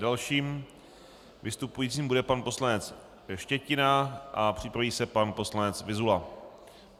Dalším vystupujícím bude pan poslanec Štětina a připraví se pan poslanec Vyzula.